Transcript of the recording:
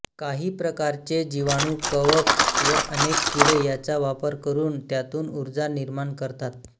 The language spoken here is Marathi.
काही प्रकारचे जीवाणू कवक व अनेक किडे याचा वापर करून त्यातून उर्जा निर्माण करतात